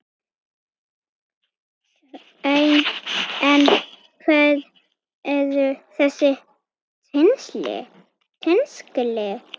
En hver eru þessi tengsl?